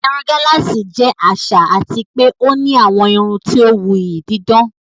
Irun gálààsì jẹ́ àṣà àti pé ó ní àwọn irun tí ó wuyì, dídán.